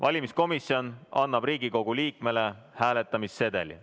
Valimiskomisjon annab Riigikogu liikmele hääletamissedeli.